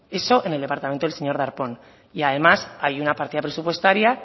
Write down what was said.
eso en el departamento del señor darpón y además hay una partida presupuestaria